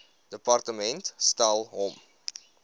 departement stel hom